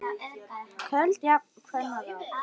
Köld eru jafnan kvenna ráð.